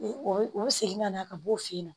O o bɛ segin ka na ka b'o fe yen